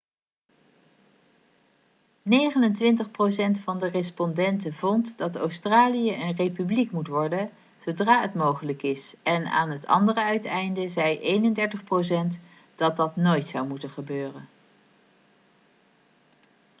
29 procent van de respondenten vond dat australië een republiek moet worden zodra het mogelijk is en aan het andere uiteinde zei 31 procent dat dat nooit zou moeten gebeuren